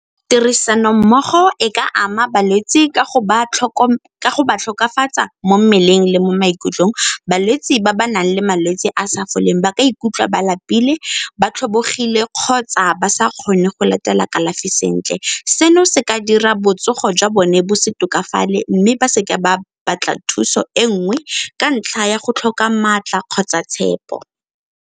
Tirisanommogo e ka ama balwetse ka go mo mmeleng le mo maikutlong. Balwetse ba ba nang le malwetse a a sa foleng ba ka ikutlwa ba lapile ba tlhobogile kgotsa ba sa kgone go latela kalafi sentle. Seno se ka dira botsogo jwa bone bo se tokafala mme ba seke ba batla thuso e nngwe ka ntlha ya go tlhoka maatla kgotsa tshepo.